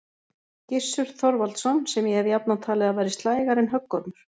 Gissur Þorvaldsson, sem ég hef jafnan talið að væri slægari en höggormur.